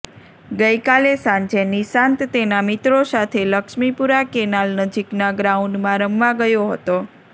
ગઇકાલે સાંજે નિશાંત તેનાં મિત્રો સાથે લક્ષ્મીપુરા કેનાલ નજીકના ગ્રાઉન્ડમાં રમવા ગયો હતો